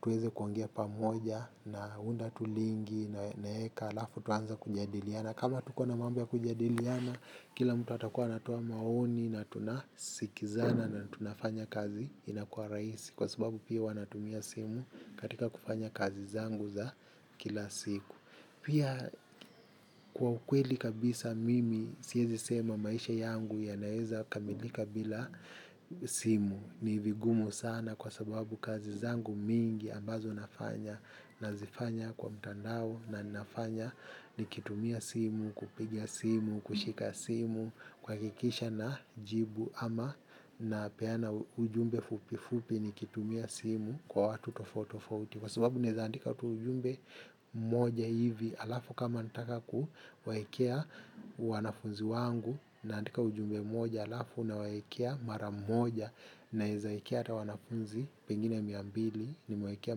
tueze kuongea pamoja na unda tulingi na heka alafu tuanze kujadiliana. Kama tuko na mambo ya kujadiliana, kila mtu atakuwa anatoa maoni na tunasikizana na tunafanya kazi inakua raisi. Kwa sababu pia hua natumia simu katika kufanya kazi zangu za kila siku. Pia kwa ukweli kabisa mimi siezi sema maisha yangu ya naeza kamilika bila simu. Ni vigumu sana kwa sababu kazi zangu mingi ambazo nafanya na zifanya kwa mtandao na nafanya ni kitumia simu, kupiga simu, kushika simu, kwa kikisha na jibu ama na peana ujumbe fupi fupi nikitumia simu kwa watu tofoauti tofauti. Kwa sababu nezaandika tu ujumbe moja hivi alafu kama nataka kuwaekea wanafunzi wangu naandika ujumbe moja alafu na waekea mara moja na zaikea ata wanafunzi pengine miambili ni mewaekea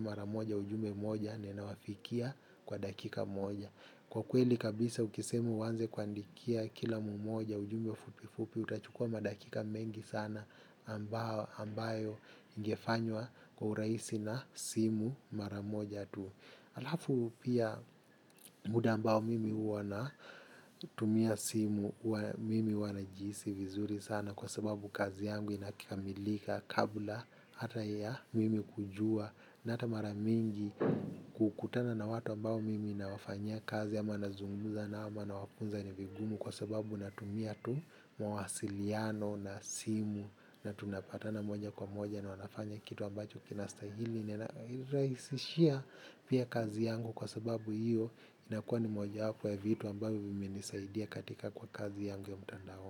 mara moja ujumbe moja na inawafikia kwa dakika moja. Kwa kweli kabisa ukisema uanze kuandikia kila mmoja ujumbe fupi fupi utachukua madakika mengi sana ambayo ingefanywa kwa urahisi na simu maramoja tu. Alafu pia muda mbao mimi huwana tumia simu mimi huana jihisi vizuri sana kwa sababu kazi yangu inakikamilika kabla hata ya mimi kujua na hata maramingi kukutana na watu mbao mimi nawafanya kazi ama nazunguza na ama na wafunza nivigumu kwa sababu natumia tu mwasiliano na simu na tunapatana moja kwa moja na wanafanya kitu ambacho kinastahili nina raisishia pia kazi yangu kwa sababu hiyo inakuwa ni moja wapo ya vitu ambavyo vimenisaidia katika kwa kazi yangu ya mtandaoni.